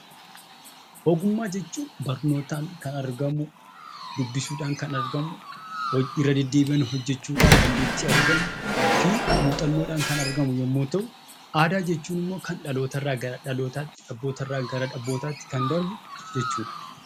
Ogummaa jechuun barnootaan kan argamu, dubbisuudhaan kan argamu, irra deddeebi'anii hojjechuudhaan dandeettii argamu fi muuxannoodhaan kan argamu yommuu ta'u; Aadaa jechuun immoo kan dhaloota irraa gara dhalootaatti, abboota irraa gara abbootaatti kan darbu jechuu dha.